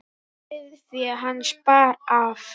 Sauðfé hans bar af.